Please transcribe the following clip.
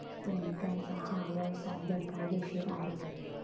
पण त्यांचा हा व्यवसाय बेकायदेशीर आहे.